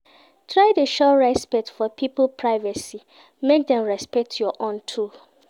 Try de show respect for pipo's privacy make dem respect your own too